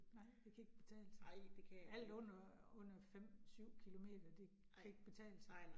Nej, det kan ikke betale sig. Alt under under 5 7 kilometer, det kan ikke betale sig